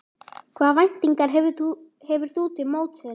Hvaða væntingar hefur þú til mótsins?